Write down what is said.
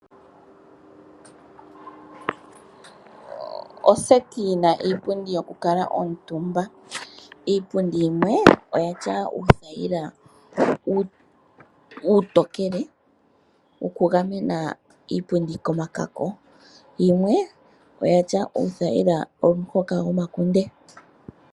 Oseti yi na iipundi yokukala omutumba. Iipundi yimwe oya tya uuthaila uutokele wokugamena iipundi komakako. Yimwe oya tya uuthaila womahoka hoka gomakunde.